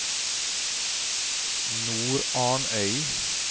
Nordarnøy